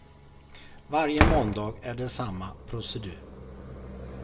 Varje måndag är det samma procedur.